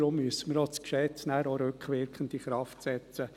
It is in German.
Deshalb müssen wir das Gesetz auch rückwirkend in Kraft setzen.